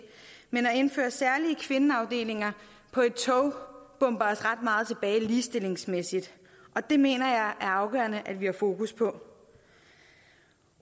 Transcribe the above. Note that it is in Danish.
men at indføre særlige kvindeafdelinger på et tog bomber os ret meget tilbage ligestillingsmæssigt og det mener jeg er afgørende at vi har fokus på